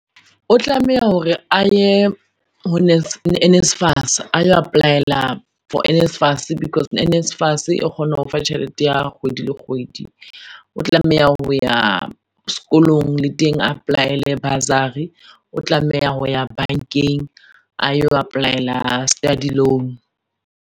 O tlameha hore a ye ho NSFAS, ayo apply-ela for NSFAS, because NSFAS e kgona ho fa tjhelete ya kgwedi le kgwedi. O tlameha ho ya sekolong le teng a apply-ele bursary, o tlameha ho ya bankeng ayo apply-ela study loan.